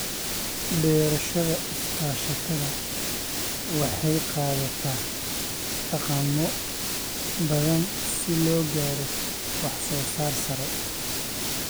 Beerashada iskaashatada waxay qaadataa dhaqammo badan si loo gaaro wax soo saar sare.